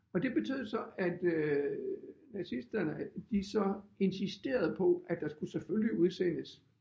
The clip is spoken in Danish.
Og det betød så at øh nazisterne at de så insisterede på at der skulle selvfølgelig udsendes